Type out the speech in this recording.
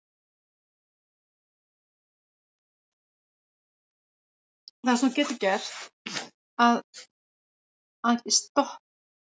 Horfði ekki á mig.